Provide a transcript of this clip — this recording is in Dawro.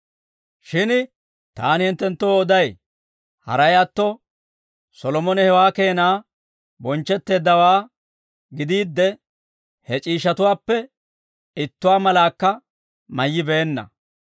Shin taani hinttenttoo oday; haray atto, Solomone hewaa keena bonchchetteeddawaa gidiidde, he c'iishshatuwaappe ittuwaa malaakka mayyibeenna.